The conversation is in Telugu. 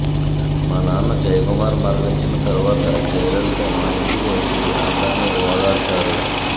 మా నాన్న జయకుమార్ మరణించిన తరువాత జయలలిత మా ఇంటికి వచ్చి అందర్ని ఓదార్చారు